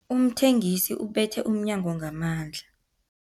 Umthengisi ubethe umnyango ngamandla.